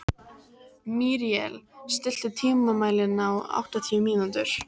Míríel, stilltu tímamælinn á áttatíu mínútur.